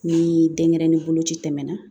Ni denyɛrɛnin boloci tɛmɛna